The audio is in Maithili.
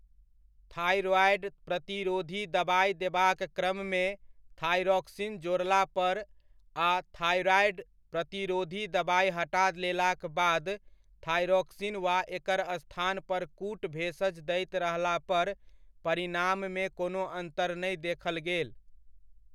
थाइरॉयड प्रतिरोधी दबाइ देबाक क्रममे थाइरोक्सिन जोड़ला पर आ थाइरॉयड प्रतिरोधी दबाइ हटा लेलाक बाद थाइरोक्सिन वा एकर स्थान पर कूट भेषज दैत रहला पर परिणाममे कोनो अन्तर नहि देखल गेल।